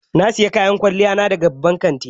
Na sayi kayan kwalliya na daga babban kanti